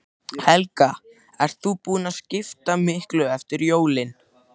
Helga: Ert þú búin að skipta miklu eftir jólin?